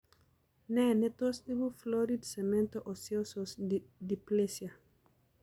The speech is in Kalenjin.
Ne ne tos ipu florid cemento osseous dysplasia?